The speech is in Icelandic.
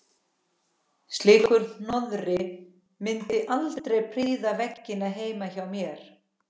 Slíkur hroði mundi aldrei prýða veggina heima hjá mér.